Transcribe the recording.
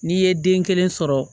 N'i ye den kelen sɔrɔ